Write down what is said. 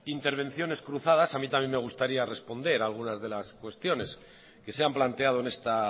intervenciones cruzadas a mí también me gustaría responder algunas de las cuestiones que se han planteado en esta